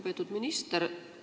Lugupeetud minister!